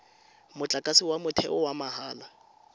motlakase wa motheo wa mahala